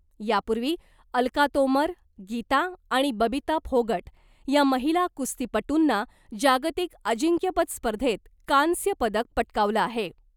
यापूर्वी अलका तोमर , गीता आणि बबिता फोगट या महिला कुस्तीपटूंना जागतिक अजिंक्यपद स्पर्धेत कांस्य पदक पटकावलं आहे .